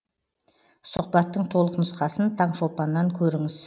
сұхбаттың толық нұсқасын таңшолпаннан көріңіз